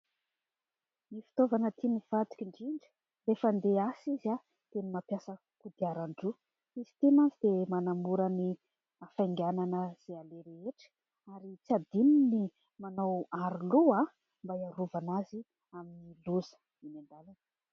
Ny fitaovana tiany vadiko indrindra rehefa handeha hiasa izy dia ny mampiasa kodiaran-droa. Izy ity moa dia manamora ny hafainganana izay aleha rehetra ary tsy adino ny manao aroloha mba iarovana azy amin'ny loza eny an-dàlana.